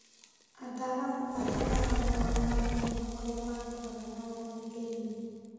Ataramu arĩa ega mũno nĩ mamenyaga ũrĩa mangĩrora na gũthikĩrĩria,